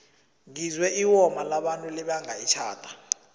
ngizwe iwoma labantu libanga itjhada